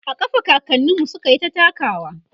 a ƙafa kakaninmu sukyita takawa